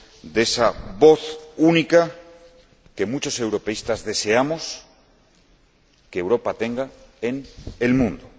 de esa voz única que muchos europeístas deseamos que Europa tenga en el mundo.